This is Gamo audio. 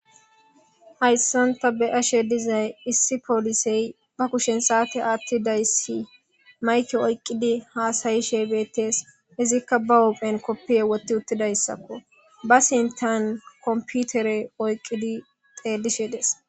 Hayissanni taa be'ashshe dizayi issi poliseyi baa kushshen sate aththidayissi mayikke oyikkidi hasayishshe betees.izzikka baa huphphenni kopiya woththi uttidayissakko.baa sintanni komipitere oyikkidi xellishshe dees